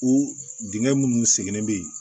O dingɛ minnu seginnen bɛ yen